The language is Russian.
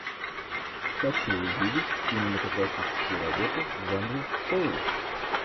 хочу увидеть кинематографическую работу в жанре шоу